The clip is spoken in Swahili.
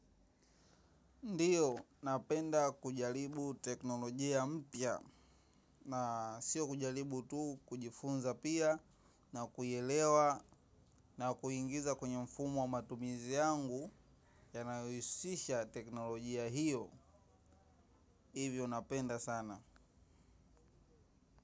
Ndiyo napenda kujaribu teknolojia mpya na siyo kujaribu tu, kujifunza pia. Na kuyaelewa na kuyaingiza kwenye mfumo wa matumizi yangu ya kila siku, yanayohusisha teknolojia. Hivyo napenda sana.